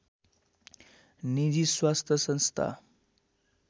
निजी स्वास्थ संस्था